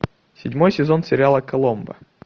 седьмой сезон сериала коломбо